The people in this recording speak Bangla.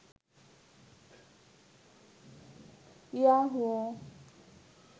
ইয়াহু